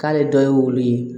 K'ale dɔ ye wulu ye